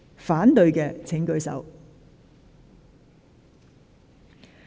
反對的請舉手。